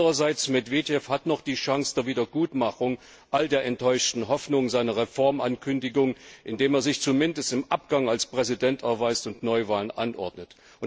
Andererseits hat Medwedew noch die Chance der Wiedergutmachung all der enttäuschten Hoffnungen seiner Reformankündigung, indem er sich zumindest im Abgang als Präsident erweist und Neuwahlen anordnet.